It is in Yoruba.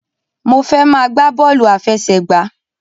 Mo fẹ́ máa gbá bọ́ọ̀lù àfẹsẹ̀gbá.